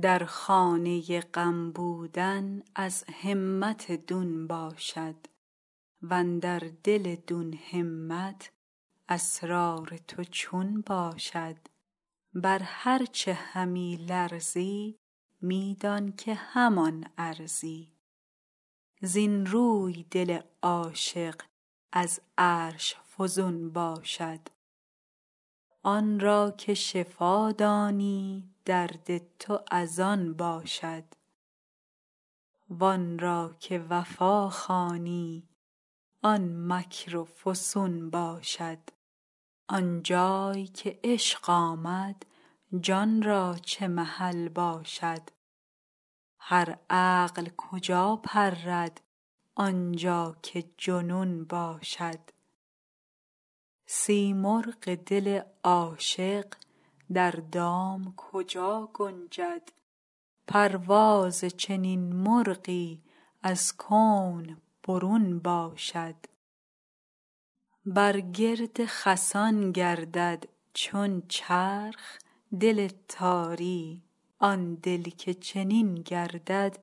در خانه غم بودن از همت دون باشد و اندر دل دون همت اسرار تو چون باشد بر هر چه همی لرزی می دان که همان ارزی زین روی دل عاشق از عرش فزون باشد آن را که شفا دانی درد تو از آن باشد وان را که وفا خوانی آن مکر و فسون باشد آن جای که عشق آمد جان را چه محل باشد هر عقل کجا پرد آن جا که جنون باشد سیمرغ دل عاشق در دام کجا گنجد پرواز چنین مرغی از کون برون باشد بر گرد خسان گردد چون چرخ دل تاری آن دل که چنین گردد